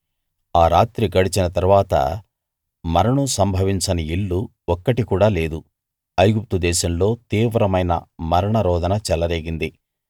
ఆ రాత్రి గడిచిన తరువాత మరణం సంభవించని ఇల్లు ఒక్కటి కూడా లేదు ఐగుప్తు దేశంలో తీవ్రమైన మరణ రోదన చెలరేగింది